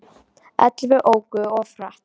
Ellefu óku of hratt